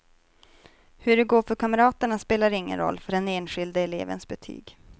Hur det går för kamraterna spelar ingen roll för den enskilde elevens betyg.